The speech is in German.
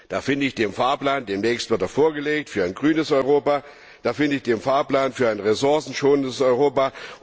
Da finde ich den Fahrplan demnächst wird er vorgelegt für ein grünes Europa, da finde ich den Fahrplan für ein ressourcenschonendes Europa.